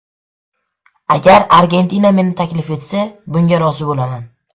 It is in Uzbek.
Agar Argentina meni taklif etsa, bunga rozi bo‘laman.